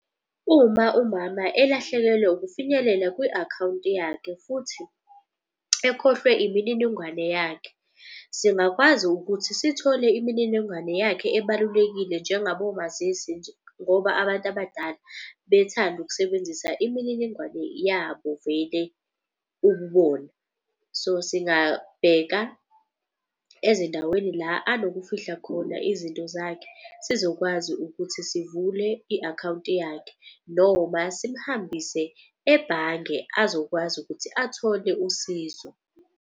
Uma umama elahlekelwe ukufinyelela kwi-akhawunti yakhe futhi ekhohlwe imininingwane yakhe. Singakwazi ukuthi sithole imininingwane yakhe ebalulekile njengabo omazisi nje. Ngoba abantu abadala bethanda ukusebenzisa imininingwane yabo vele ububona. So, singabheka ezindaweni la anokufihla khona izinto zakhe. Sizokwazi ukuthi sivule i-akhawunti yakhe noma simhambise ebhange azokwazi ukuthi athole usizo.